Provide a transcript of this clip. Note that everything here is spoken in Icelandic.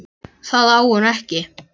Það á hún ekki.